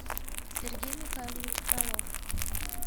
сергей михайлович фролов